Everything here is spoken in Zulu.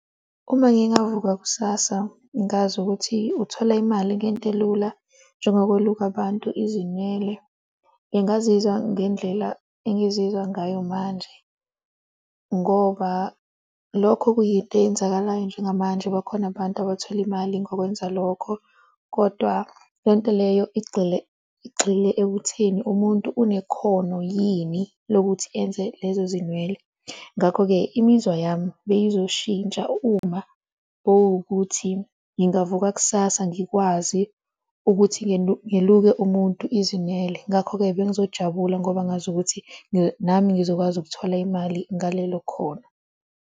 Uma ngingavuka kusasa ngazi ukuthi uthola imali ngento elula njengokweluka bantu izinwele, ngingazizwa ngendlela engizizwa ngayo manje ngoba lokho kuyinto eyenzakalayo njengamanje. Bakhona abantu abathola imali ngokwenza lokho, kodwa le nto leyo igxile igxile ekutheni umuntu unekhono yini lokuthi enze lezo zinwele. Ngakho-ke imizwa yami beyizoshintsha uma kuwukuthi ngingavuka kusasa ngikwazi ukuthi ngiluke umuntu izinwele ngakho-ke bengizojabula ngoba ngazi ukuthi nami ngizokwazi ukuthola imali ngalelo khono.